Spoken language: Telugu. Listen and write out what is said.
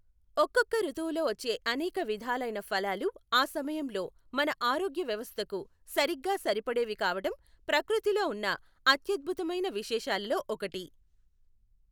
ఒక్కొక్కఋతువులో వచ్చే అనేక విధాలైన ఫలాలు ఆ సమయంలో మన ఆరోగ్య వ్యవస్థకు సరిగ్గా సరిపడేవి కావటం ప్రకృతిలో ఉన్న అత్యద్భుతమైన విశేషాలలో ఒకటి.